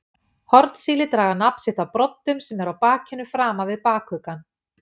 Hornsíli draga nafn sitt af broddum sem eru á bakinu framan við bakuggann.